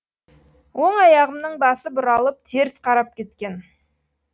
оң аяғымның басы бұралып теріс қарап кеткен